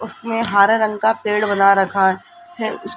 उसमें हरे रंग का पेड़ बना रखा है।